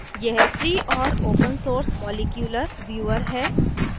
* यह free और open source molecular viewer molecular viewer है